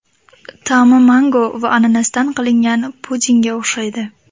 Ta’mi mango va ananasdan qilingan pudingga o‘xshaydi.